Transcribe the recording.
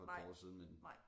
Nej nej